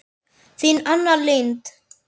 Þín Anna Lind.